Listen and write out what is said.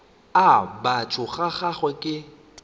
a batho ga gagwe ke